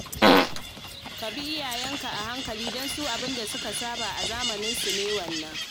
Ka bi iyayenka a hankali don su abin da suka saba a zamaninsu ne wannan